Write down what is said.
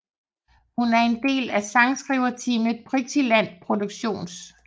Hun er en del af sangskriverteamet Pixieland Productions